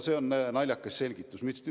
See on naljakas selgitus.